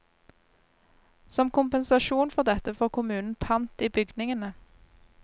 Som kompensasjon for dette får kommunen pant i bygningene.